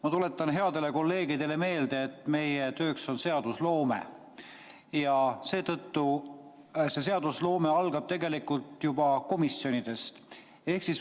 Ma tuletan headele kolleegidele meelde, et meie töö on seadusloome ja seadusloome algab juba komisjonides.